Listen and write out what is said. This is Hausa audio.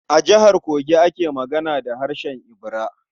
A Jihar Kogi ake magana da harshen Ibira.